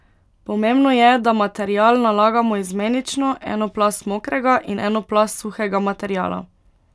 Pomembno je, da material nalagamo izmenično, eno plast mokrega in eno plast suhega materiala.